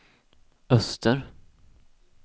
öster